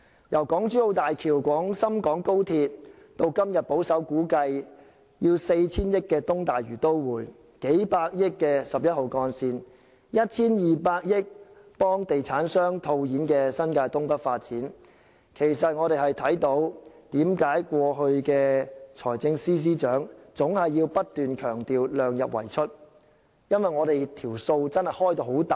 由港珠澳大橋、廣深港高鐵，到今日保守估計 4,000 億元的東大嶼都會、數百億元的11號幹線、1,200 億元幫地產商套現的新界東北發展等，其實我們明白為何財政司司長過去總要不斷強調"量入為出"，因為開支龐大。